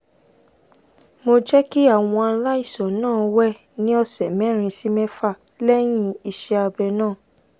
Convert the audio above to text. mo jẹ́ kí àwọn aláìsàn náà wẹ̀ ní ọ̀sẹ̀ mẹ́rin sí mẹ́fà lẹ́yìn iṣẹ́ abẹ náà